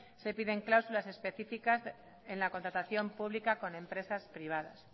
se piden cláusulas especificas en la contratación pública con empresas privadas